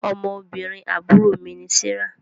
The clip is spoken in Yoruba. Ọmọbìnrin àbúrò mí ni Serah